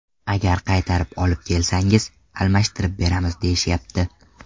Agar qaytarib olib kelsangiz, almashtirib beramiz deyishyapti.